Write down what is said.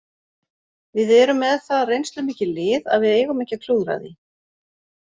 Við erum með það reynslumikið lið að við eigum ekki að klúðra því.